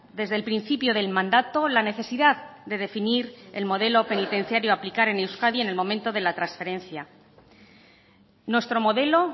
desde el principio del mandato la necesidad de definir el modelo penitenciario a aplicar en euskadi en el momento de la transferencia nuestro modelo